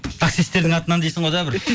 таксистердің атынан дейсің ғой да бір